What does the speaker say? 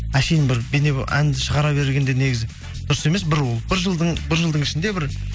әшейін бір әнді шығара бергенде негізі дұрыс емес бір ол бір жылдың ішінде бір